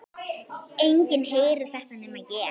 Enginn heyrir þetta nema ég.